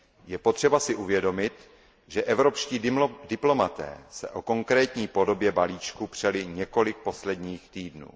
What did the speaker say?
Je potřeba si uvědomit, že evropští diplomaté se o konkrétní podobě balíčku přeli několik posledních týdnů.